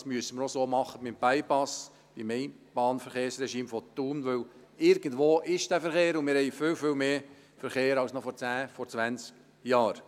Das müssen wir auch beim Bypass und beim Einbahnverkehrsregime von Thun so machen, denn irgendwo ist dieser Verkehr, und wir haben viel, viel mehr Verkehr als noch vor 10 oder 20 Jahren.